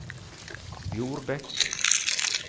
Bjorbekk